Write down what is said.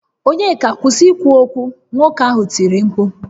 Onyeka kwusi ikwu okwu! Nwoke ahụ tiri mkpu